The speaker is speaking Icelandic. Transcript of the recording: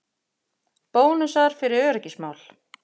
Bónusar fyrir öryggismál